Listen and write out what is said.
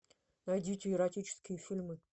найдите эротические фильмы